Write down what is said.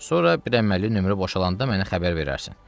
Sonra bir əməlli nömrə boşalanda mənə xəbər verərsən.